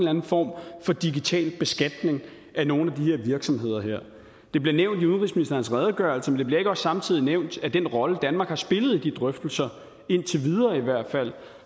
anden form for digital beskatning af nogle af de her virksomheder det bliver nævnt i udenrigsministerens redegørelse men det bliver ikke også samtidig nævnt at den rolle danmark har spillet i de drøftelser indtil videre i hvert fald